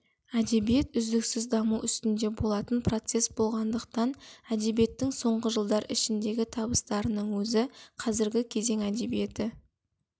әдебиет үздіксіз даму үстінде болатын процесс болғандықтан әдебиеттің соңғы жылдар ішіндегі табыстарының өзі қазіргі кезең әдебиеті